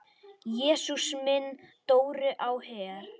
Jesús minn, Dóri á Her!